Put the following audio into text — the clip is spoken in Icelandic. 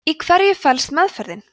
í hverju felst meðferðin